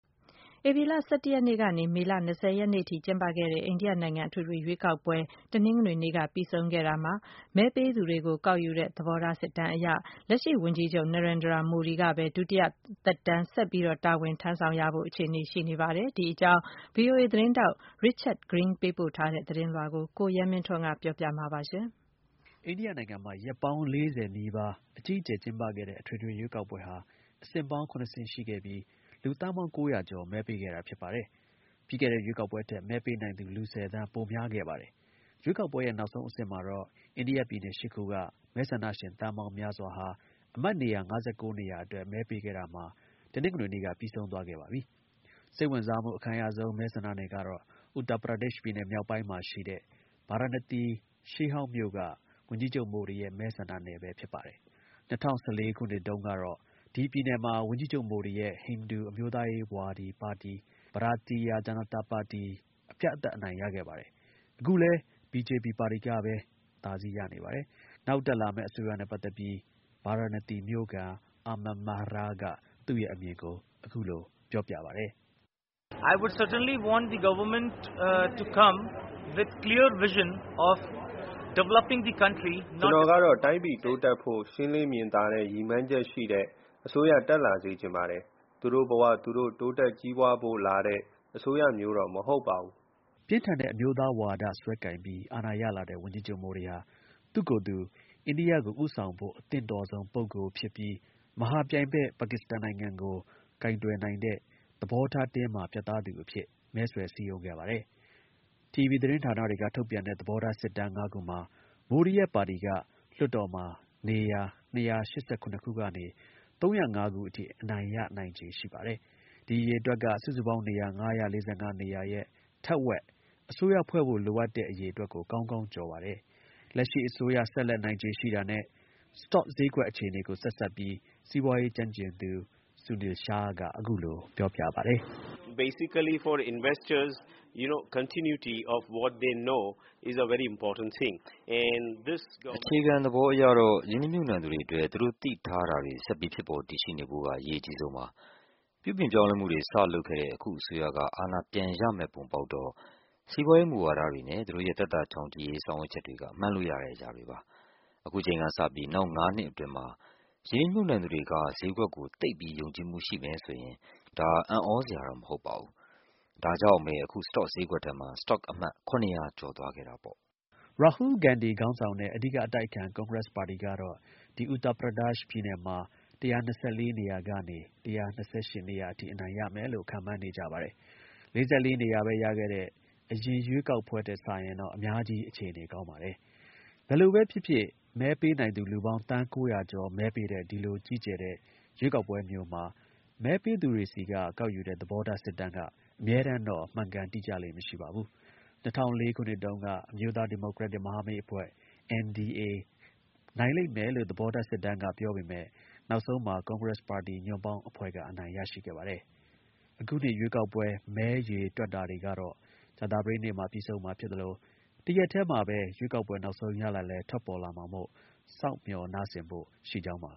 ဧပြီလ ၁၁ ရက်နေ့ကနေ မေလ ၂၀ ရက်နေ့အထိ ကျင်းပခဲ့တဲ့ အိန္ဒိယနိုင်ငံ အထွေထွေ ရွေးကောက်ပွဲ တနင်္ဂနွေနေ့က ပြီးဆုံးခဲ့ရာမှာ မဲပေးသူတွေကို ကောက်ယူတဲ့ သဘောထားစစ်တမ်းအရ လက်ရှိ ဝန်ကြီးချုပ် Narendra Modi က ပဲ ဒုတိယ သက်တမ်းဆက်လက် တာဝန်ထမ်းဆောင်ဖို့ အခြေအနေ ရှိနေပါတယ်။ ဒီ အကြောင်း ဗွီအိုအေ သတင်းထောက် Richard Green ပေးပို့ ထားတဲ့ သတင်းလွှာကို ကိုရဲမင်းထွန်းက တင်ပြပေးပါမယ်။ အိန္ဒိယ နိုင်ငံမှာ ရက်ပေါင်း ၄၀ အတွင်း အကြီးအကျယ် ကျင်းပခဲ့တဲ့ အထွေထွေ ရွေးကောက်ပွဲဟာ အဆင့်ပေါင်း ၇ ဆင့် ရှိပြီး လူသန်းပေါင်း ၉၀၀ ကျော် မဲပေးခဲ့တာ ဖြစ်ပါတယ်။ ပြီးခဲ့တဲ့ ရွေးကောက်ပွဲထက် မဲပေးနိုင်သူ လူ ၁၀ သန်း ပိုများခဲ့ပါတယ်။ ရွေးကောက်ပွဲရဲ့ နောက်ဆုံး အဆင့်မှာတော့ အိန္ဒိယ ပြည်နယ် ၈ ခုက မဲဆန္ဒရှင် သန်းပေါင်း များစွာဟာ အမတ် နေရာ ၅၉ နေရာအတွက် မဲပေးခဲ့တာမှာ တနင်္ဂနွေနေ့က ပြီးဆုံးသွားခဲ့ပါပြီ။ စိတ်ဝင်စားမှု အခံရဆုံး မဲဆန္ဒနယ်တစ်ခုကတော့ Uttar Pradesh ပြည်နယ် မြောက်ပိုင်းမှာရှိတဲ့ ဗာရာဏသီ ရှေးဟောင်းမြို့က ဝန်ကြီးချုပ် မိုဒီရဲ့ မဲဆန္ဒနယ်ပဲ ဖြစ်ပါတယ်။ ၂၀၁၄ ခုနှစ်မှာ ရွေးကောက်ပွဲမှာတုန်းက ဒီ ပြည်နယ်မှာ ဝန်ကြီးချုပ် မိုဒီရဲ့ ဟိန္ဒူ အမျိုးသားရေး ပါတီ Bharatiya Janata party အပြတ်အသတ် အနိုင်ရခဲ့ပါတယ်။ အခုလည်း BJP ပါတီကပဲ အသာစီးရနေပါတယ်။ နောက်တက်လာမယ့် အစိုးရနဲ့ ပတ်သက်ပြီး ဗာရာဏသီ မြို့ခံ Aman Mehra က သူ့ရဲ့အမြင်ကို အခုလို ပြောပြပါတယ်။ "ကျွန်တော်ကတော့ တိုင်းပြည် တိုးတက်ဖို့ ရှင်းလင်း မြင်သာတဲ့ ရည်မှန်းချက်ရှိတဲ့ အစိုးရ တက်လာစေချင်ပါတယ်။ သူတို့ဘ၀ သူတို့ တိုးတက်ကြီးပွားဖို့ လာတဲ့ အစိုးရမျိုးတော့ မဟုတ်ဘူး။" ပြင်းထန်တဲ့ အမျိုးသားဝါဒ စွဲကိုင်ပြီး အာဏာ ရလာတဲ့ ဝန်ကြီးချုပ် မိုဒီက အိန္ဒိယကို ဦးဆောင်ဖို့ အသင့်တော်ဆုံးဖြစ်ပြီး မဟာ ပြိုင်ဘက် ပါကစ္စကန်နိုင်ငံကို ကိုင်တွယ်နိုင်တဲ့ သဘောထား တင်းမာ ပြတ်သားတဲ့သူ အဖြစ် မဲဆွယ် စည်းရုံးခဲ့ပါတယ်။ တီဗွီ သတင်းဌာနတွေက ထုတ်ပြန်တဲ့ သဘောထား စစ်တမ်း ၅ ခုမှာ မိုဒီရဲ့ ပါတီက လွှတ်တော်မှာ နေရာ ၂၈၇ ခုကနေ ၃၀၅ ခုအထိ အနိုင်ရ နိုင်ခြေ ရှိပါတယ်။ ဒီ အရေအတွက်က စုစုပေါင်း နေရာ ၅၄၅ နေရာရဲ့ ထက်ဝက် အစိုးရ ဖွဲ့ဖို့ လိုအပ်တဲ့ နေရာ အရေအတွက်ကို ကောင်းကောင်း ကျော်ပါတယ်။ လက်ရှိ အစိုးရ ဆက်လက် နိုင်ခြေရှိတာနဲ့ စတော့ဈေးကွက် အခြေအနေကို ဆက်စပ်ပြီး စီးပွားရေး ကျွမ်းကျင်သူ Sunil Shah က အခုလို ပြောပါတယ်။ "အခြေခံ သဘောအရတော့ ရင်းနီမြှုပ်နှံသူတွေအတွက် သူတို့ သိထားတာတွေ ဆက်ပြီး ဖြစ်ပေါ်တည်ရှိနေဖို့က အရေးအကြီးဆုံးပါ။ ပြုပြင်ပြောင်းလဲမှုတွေ စ လုပ်ခဲ့တဲ့ အခု အစိုးရက အာဏာ ပြန်ရမယ့် ပုံပေါက်တော့ စီးပွားရေး မူဝါဒတွေနဲ့ သူတို့ရဲ့ သက်သာ ချောင်ချိရေး ဆောင်ရွက်ချက်တွေ မှန်းလို့ရတဲ့ အရာတွေပါ။ ခုချိန်ကစပြီး နောက် ၅ နှစ်အတွင်းမှာ ရင်းနှီးမြှုပ်နှံသူတွေက ဈေးကွက်ကို သိပ်ပြီး ယုံကြည်မှု ရှိမယ်ဆိုရင် အံ့သြစရာတော့ မဟုတ်ပါဘူး။ ဒါကြောင့်ပဲ အခု စတော့ ဈေးကွက်ထဲမှာ စတော့ အမှတ် ၇၀၀ ထက် ကျော်လွန်သွားခဲ့တာပေါ့။" ရာဟူးလ် ဂန္ဒီ ခေါင်းဆောင်တဲ့ အဓိက အတိုက်အခံ ကွန်ဂရက်ပါတီကတော့ ဒီ ပြည်နယ်မှာ ၁၂၄ နေရာကနေ ၁၂၈ နေရာအထိ အနိုင်ရမယ်လို့ ခန့်မှန်းနေကြပါတယ်။ ၄၄ နေရာပဲ ရခဲ့တဲ့ အရင်ရွေးကောက်ပွဲ ထက်စာရင်တော့ အများကြီး အခြေအနေကောင်းပါတယ်။ ဘယ်လိုပဲ ဖြစ်ဖြစ် မဲပေးနိုင်သူ လူပေါင်း သန်း ၉၀၀ ကျော် မဲပေးတဲ့ ဒီလို ကြီးကျယ်တဲ့ ရွေးကောက်ပွဲမျိုးမှာ မဲပေးသူတွေဆီက ကောက်ယူတဲ့ သဘောထား စစ်တမ်းက အမြဲတမ်းတော့ မှန်ကန် တိကျလေ့ မရှိပါဘူး။ ၂၀၀၄ ခုနှစ်တုန်းက အမျိုးသား ဒီမိုကရက်တစ် မဟာမိတ်အဖွဲ NDA နိုင်လိမ့်မယ်လို့ သဘောထား စစ်တမ်းက ပြောပေမယ့် နောက်ဆုံးမှာ ကွန်ကရက်စ်ပါတီ ညွန့်ပေါင်းအဖွဲ့က အနိုင်ရရှိခဲ့ပါတယ်။ အခု ရွေးကောက်ပွဲ မဲရေတွက်တာတွေကတော့ အခု ကြာသပတေးနေ့မှာ ပြီးဆုံးမှာ ဖြစ်သလို တစ်ရက်တည်းမှာပဲ ရွေးကောက်ပွဲ နောက်ဆုံး ရလဒ်လည်း ထွက်ပေါ်လာမှာမို့ စောင့်မျှော်နားဆင်ဖို့ ရှိကြောင်းပါ